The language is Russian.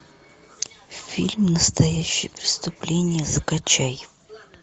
фильм настоящее преступление закачай